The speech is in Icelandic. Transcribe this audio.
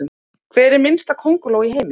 Hver minnsta könguló í heimi?